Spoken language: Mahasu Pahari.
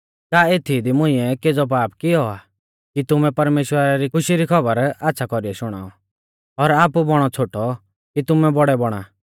का एथीई दी मुंइऐ केज़ौ पाप कियौ आ कि तुमुकै परमेश्‍वरा री खुशी री खौबर आच़्छ़ा कौरीऐ शुणाऔ और आपु बौणौ छ़ोटौ कि तुमै बौड़ै बौणा